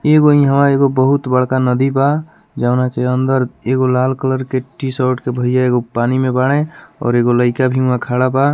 एगो इहवा एगो बहुत बड़का नदी बा जउना की अंदर एगो लाल कलर के टी-शर्ट के भैया एगो पानी में बाड़े और एगो लइका भी वहाँ खड़ा बा।